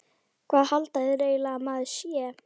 Hvað halda þeir eiginlega að maður sé?